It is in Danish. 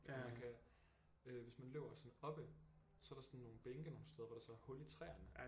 Og man kan øh hvis man løber sådan oppe så er der sådan nogle bænke nogle steder hvor der så er hul i træerne